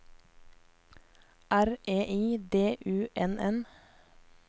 R E I D U N N